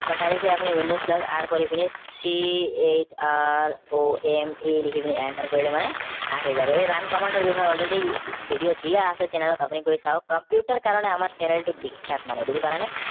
বা directly আপুনি windows plus কৰি পিনি chrome লিখি পিনি enter কৰিলে মানে আহি যাব এই run command টোৰ বিষয়ে already video দিয়া আছে channel ত আপুনি গৈ চাওঁক computer ৰ কাৰণে channel টো বিখ্যাত মানে বুজি পালে নে